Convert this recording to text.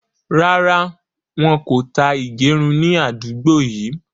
Rárá, wọn kò tá ìgérun ni àdúgbò yìí